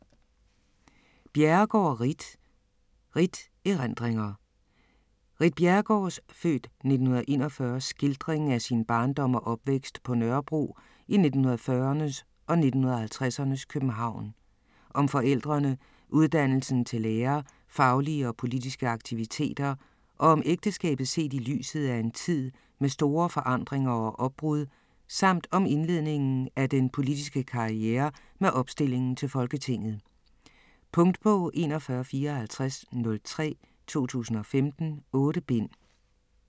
Bjerregaard, Ritt: Ritt: erindringer Ritt Bjerregaards (f. 1941) skildring af sin barndom og opvækst på Vesterbro i 1940'ernes og 1950'ernes København. Om forældrene, uddannelsen til lærer, faglige og politiske aktiviteter og om ægteskabet set i lyset af en tid med store forandringer og opbrud samt om indledningen af den politiske karriere med opstillingen til Folketinget. Punktbog 415403 2015. 8 bind.